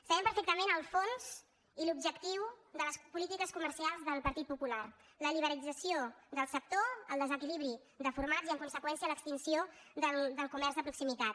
sabem perfectament el fons i l’objectiu de les políti·ques comercials del partit popular la liberalització del sector el desequilibri de formats i en conseqüèn·cia l’extinció del comerç de proximitat